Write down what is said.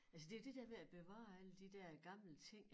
Altså det jo det der med at bevare alle de der gamle ting